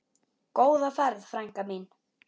Góða ferð, frænka mín.